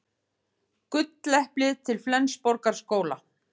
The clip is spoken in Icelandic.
Gulleplið til Flensborgarskóla